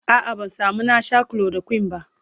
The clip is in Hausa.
a'a ban samu na Sha chloroquine ba